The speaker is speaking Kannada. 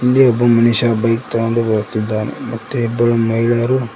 ಇಲ್ಲಿ ಒಬ್ಬ ಮನುಷ್ಯ ಬೈಕ್ ತಗೊಂಡು ಬರುತ್ತಿದ್ದಾನೆ ಮತ್ತೆ ಇಬ್ಬರು ಮಹಿಳೆಯರು--